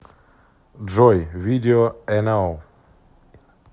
джой видео эно